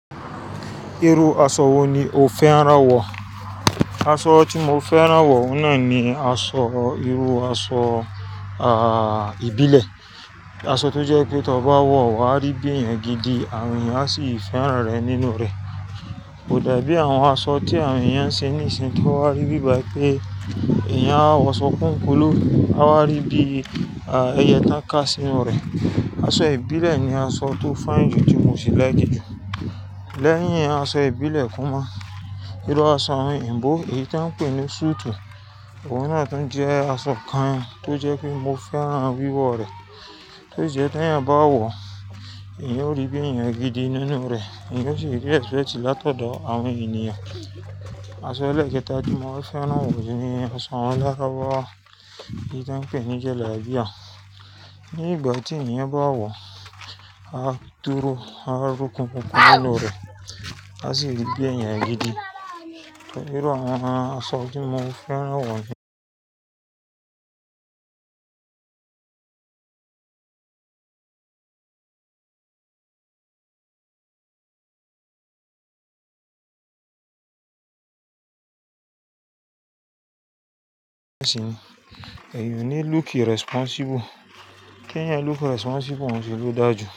Irú aṣọ wo ni o fẹ́ràn wọ̀? Aṣọ tí mo fẹ́ràn wọ̀ náà ni irú aṣọ, a, ìbílẹ̀. Aṣọ tó jẹ́ pé tí ọ bá wọ̀, wà á rí bí èèyàn gidi àwọn èèyàn sì í fẹ́ràn rẹ nínú rẹ̀. Kò dàbí àwọn aṣọ tí àwọn èèyàn ń ṣe níìsín tó wà rí bíi báì pé èèyàn á wọṣọ kúkúún kulu, á wá rí bí i, a, ẹyẹ tań ká sí inú rẹ̀. Aṣọ ìbílẹ̀ ni aṣọ tó fine jù tí mo sì laiki jù. Lẹ́yìn aṣọ ìbílẹ̀ kúnmọ̀, irú aṣọ oyinbó, èyí tí wọ́n ń pè ní suit, òun náà tún jẹ́ aṣọ kan tó jẹ́ pé mo fẹ́ràn wiwọ̀ rẹ̀. To ṣ'ije t'ẹeyan báwọ̀, èèyàn ó rí bí èèyàn gidi nínú rẹ̀, èèyàn sì ri respect látọ̀dọ̀ àwọn ènìyàn. Aṣọ elẹ̀kẹ́ta tí mo fẹ́ràn wọ̀ ni aṣọ awon larubawa eyi t'ọ́n ń pè ní jala'biya. Ni ìgbà tí ẹnì bá wọ̀, á dúró, á rún kúkúún nínú rẹ̀, á sì rí bí èèyàn gidi. Irú àwọn aṣọ tí mo fẹ́ràn wọ̀ ni ẹ̀yí ò ní look irresponsible. Kí ẹnì look irresponsible n ṣi ló dàjú.